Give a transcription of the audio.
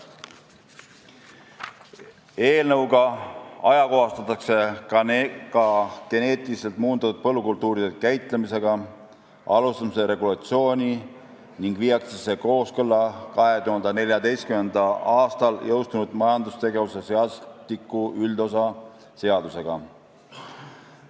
Eelnõuga ajakohastatakse ka geneetiliselt muundatud põllukultuuride käitlemisega alustamise regulatsiooni ning viiakse see kooskõlla 2014. aastal jõustunud majandustegevuse seadustiku üldosa seadusega.